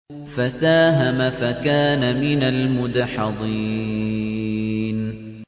فَسَاهَمَ فَكَانَ مِنَ الْمُدْحَضِينَ